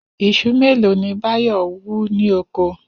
Is̩u mélòó ni Báyò̩ wú ní oko?